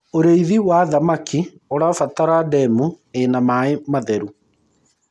ũrĩithi wa thamakĩ ũrabatara ndemu ina maĩ matheru